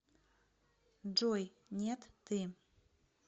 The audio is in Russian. джой нет ты